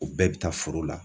O bɛɛ bɛ taa foro la